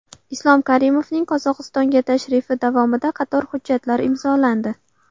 Islom Karimovning Qozog‘istonga tashrifi davomida qator hujjatlar imzolandi.